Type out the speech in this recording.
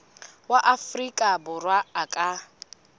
wa afrika borwa a ka